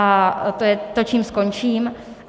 A to je to, čím skončím.